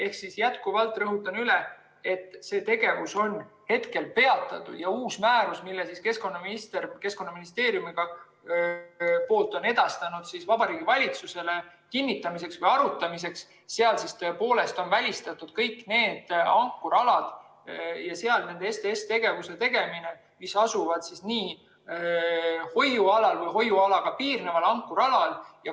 Ehk jätkuvalt rõhutan üle, et see tegevus on peatatud ja uues määruses, mille keskkonnaminister on Keskkonnaministeeriumi poolt edastanud Vabariigi Valitsusele kinnitamiseks või arutamiseks, on STS‑tegevused välistatud kõigil nendel ankrualadel, mis asuvad hoiualal või mis on hoiualaga piirnevad ankrualad.